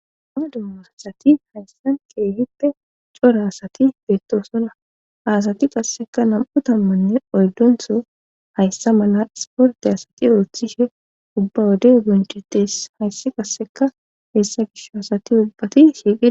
ha dummosasati hayssan qeehippe cora asati beettosonna haasati qasseka nam7u tammanne oydontho hayssa mala sporte asati ooththishe ubba wode o bonchetes hayssi qasseka heessa gisho hasati ubbati shiiqe